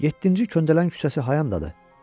Yeddinci köndələn küçəsi hayandadır?